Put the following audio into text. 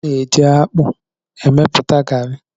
A na-eji akpu emepụta garri